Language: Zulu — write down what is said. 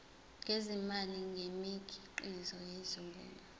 ngezimali ngemikhiqizo yezolimo